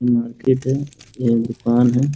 Market है यह दुकान है ।